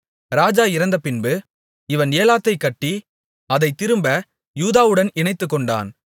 ராஜா இறந்தபின்பு இவன் ஏலாத்தைக் கட்டி அதைத் திரும்ப யூதாவுடன் இணைத்துக்கொண்டான்